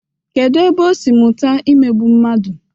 Kedu ebe o si mụta imegbu mmadu?